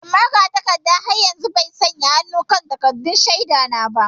Eh, magatakarda har yanzu bai sanya hannu kan takaddun shaida na ba.